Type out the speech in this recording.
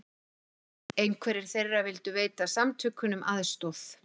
Einhverjir þeirra vildu veita samtökunum aðstoð